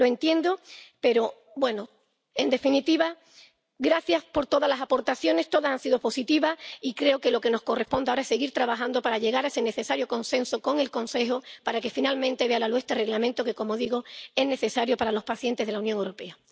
Lo entiendo, pero, bueno. En definitiva, gracias por todas las aportaciones todas han sido positivas. Y creo que lo que nos corresponde ahora es seguir trabajando para llegar a ese necesario consenso con el Consejo para que finalmente vea la luz este Reglamento que, como digo, es necesario para los pacientes de la Unión Europea.